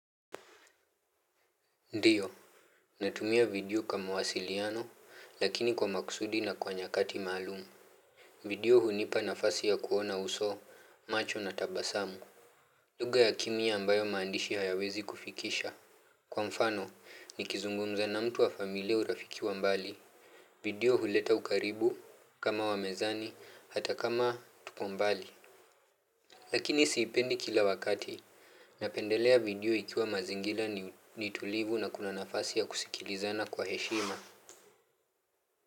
Ndiyo. Natumia video kwa wasiliano, lakini kwa makusudi na kwa nyakati maalum. Video hunipa nafasi ya kuona uso, macho na tabasamu. Lugha ya kimya ambayo maandishi hayawezi kufikisha. Kwa mfano, nikizungumza na mtu wa familia au rafiki wa mbali. Video huleta ukaribu, kama wa mezani, hata kama tuko mbali. Lakini siipendi kila wakati napendelea video ikiwa mazingira ni tulivu na kuna nafasi ya kusikilizana kwa heshima.